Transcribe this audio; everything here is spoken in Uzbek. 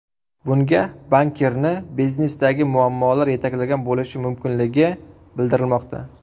Bunga bankirni biznesdagi muammolar yetaklagan bo‘lishi mumkinligi bildirilmoqda.